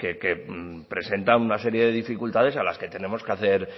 que presenta una serie de dificultades a las que tenemos que hacer